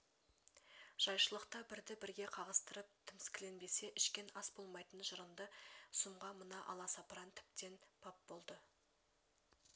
жайшылықта бірді бірге қағыстырып тіміскіленбесе ішкен ас болмайтын жырынды сұмға мына аласапыран тіптен бап болды